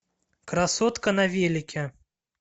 красотка на велике